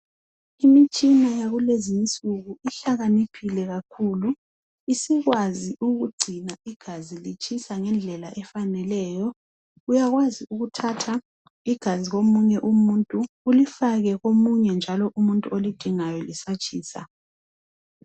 Imitshina yakulezi insuku isihlakaniphile kakhulu. Isikwazi kugcina igazi litshisa ngendlela efaneleneyo. Uyakwazi ukuthatha igazi komunye umuntu, ulifake komunye njalo umuntu olidingayo lisatshisa .